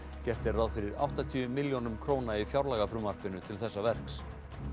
gert er ráð fyrir áttatíu milljónum króna í fjárlagafrumvarpinu til þessa verks